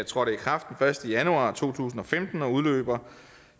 trådte i kraft den første januar to tusind og femten og udløber